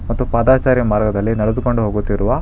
ಮತ್ತು ಪಾದಚಾರಿ ಮರ್ಗದಲ್ಲಿ ನಡೆದುಕೊಂಡು ಹೋಗುತ್ತಿರುವ--